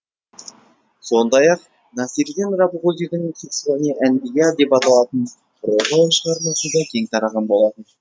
сондай ақ насреддин рабғузидің қиссасул әнбия деп аталатын прозалық шығармасы да кең тараған болатын